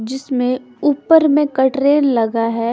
जिसमे ऊपर में कट्रैल लगा है।